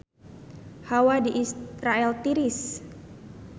Hawa di Israel tiris